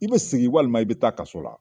I be sigi walima i be taa kaso la.